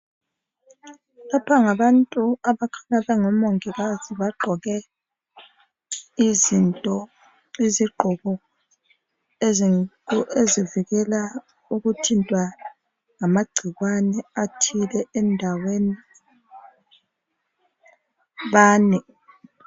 Laba ngabantu abakhanya bengomongikazi, bagqoke izigqoko ezivikela ukuthintwa ngamagcikwane athile endaweni, bane.